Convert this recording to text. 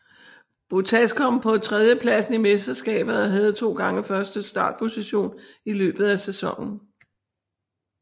Bottas kom på tredjepladsen i mesterskabet og havde to gange første startposition i løbet af sæsonen